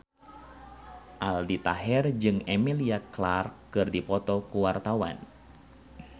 Aldi Taher jeung Emilia Clarke keur dipoto ku wartawan